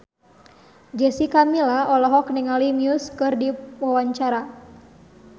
Jessica Milla olohok ningali Muse keur diwawancara